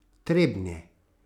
Trebnje.